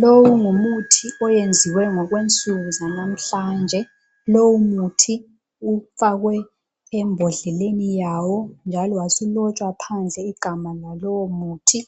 Lowu ngumuthi oyenziwe ngokwensuku zanamhlanje. Lowu muthi ufakwe embodleleni yawo njalo wasulotshwa phandle igama lalowo muthi.